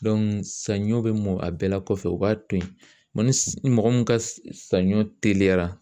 sanɲɔ bɛ mɔn a bɛɛ la kɔfɛ, u b'a to yen, ni mɔgɔ min ka sanɲɔ teliyara